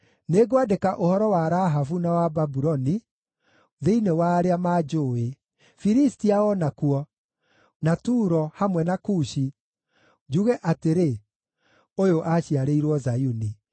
“Nĩngwandĩka ũhoro wa Rahabu na wa Babuloni thĩinĩ wa arĩa manjũũĩ, Filistia o nakuo, na Turo, hamwe na Kushi, njuge atĩrĩ, ‘Ũyũ aaciarĩirwo Zayuni.’ ”